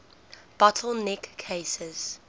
bottle neck cases